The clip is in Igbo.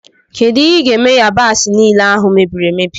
Kedụ ihe i ga-eme yabasi niile ahụ mebiri emebi?